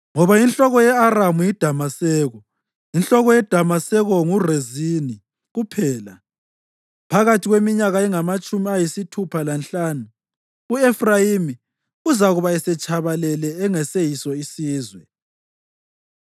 ngoba inhloko ye-Aramu yiDamaseko, inhloko yeDamaseko nguRezini kuphela. Phakathi kweminyaka engamatshumi ayisithupha lanhlanu u-Efrayimi uzakuba esetshabalele engaseyiso sizwe.